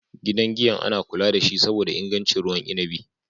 Gidan giyan ana kula dashi saboda ingancin ruwan inabi.